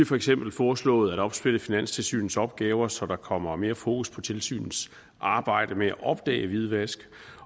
for eksempel foreslået at opsplitte finanstilsynets opgaver så der kommer mere fokus på tilsynets arbejde med at opdage hvidvask